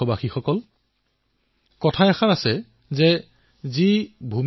ই শক্তিশালী হলেহে আত্মনিৰ্ভৰ ভাৰতৰ ভেঁটি শক্তিশালী হব